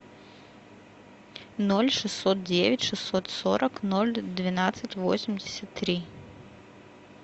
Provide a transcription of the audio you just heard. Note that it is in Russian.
ноль шестьсот девять шестьсот сорок ноль двенадцать восемьдесят три